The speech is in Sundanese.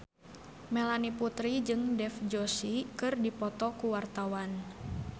Melanie Putri jeung Dev Joshi keur dipoto ku wartawan